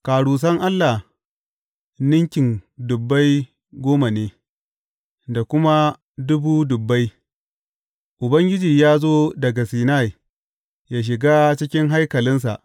Karusan Allah ninkin dubbai goma ne da kuma dubu dubbai; Ubangiji ya zo daga Sinai ya shiga cikin haikalinsa.